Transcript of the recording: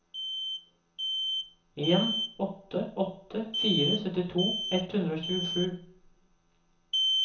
en åtte åtte fire syttito ett hundre og tjuesju